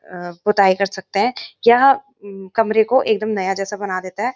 आ पुताई कर सकते हैं यह कमरे को एक दम नया जैसे बना देता है।